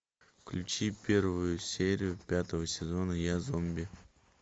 включи первую серию пятого сезона я зомби